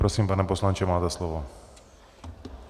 Prosím, pane poslanče, máte slovo.